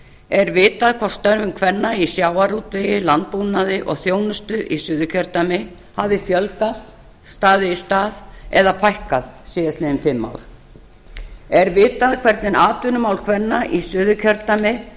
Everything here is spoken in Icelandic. er vitað hvort störfum kvenna í sjávarútvegi landbúnaði og þjónustu í suðurkjördæmi hafi fjölgað staðið í stað eða fækkað síðastliðin fimm ár er vitað hvernig atvinnumál kvenna í suðurkjördæmi